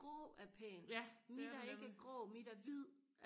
grå er pænt mit er ikke grå mit er hvid